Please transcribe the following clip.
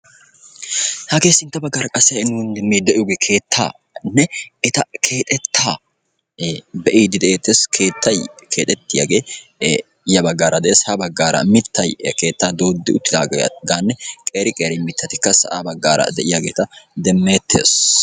sintta bagaraa de"yage keetta qassi keetta yuushuwani de"iyaa mittati beettosona.